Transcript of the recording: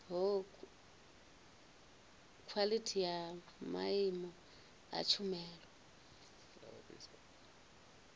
khwalithi ya maimo a tshumelo